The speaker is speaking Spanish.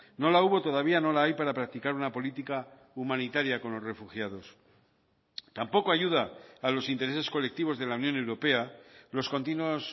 no la hubo todavía no la hay para practicar una política humanitaria con los refugiados tampoco ayuda a los intereses colectivos de la unión europea los continuos